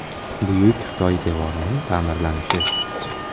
Buyuk Xitoy devorining ta’mirlanishi .